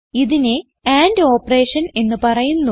ഇതിനെ and operation എന്ന് പറയുന്നു